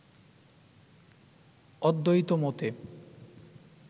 অদ্বৈত মতে